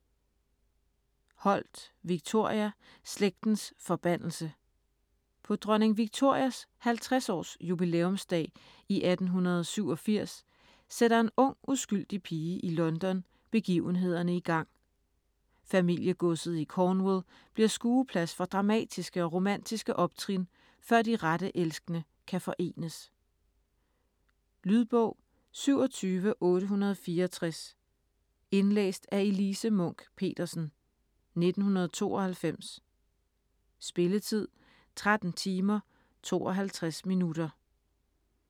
Holt, Victoria: Slægtens forbandelse På dronning Victorias 50-års jubilæumsdag i 1887 sætter en ung, uskyldig pige i London begivenhederne igang. Familiegodset i Cornwall bliver skueplads for dramatiske og romantiske optrin, før de rette elskende kan forenes. Lydbog 27864 Indlæst af Elise Munch-Petersen, 1992. Spilletid: 13 timer, 52 minutter.